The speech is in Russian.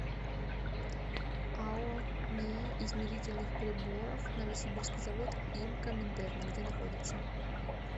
ао нии измерительных приборов новосибирский завод им коминтерна где находится